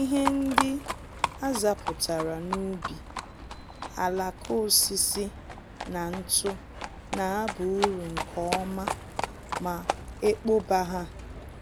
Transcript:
Ihe ndị azapụtara n'ubi, alaka osisi na ntụ na aba uru nke ọma ma ekpoba ha